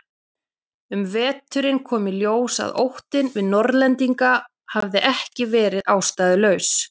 Um veturinn kom í ljós að óttinn við Norðlendinga hafði ekki verið ástæðulaus.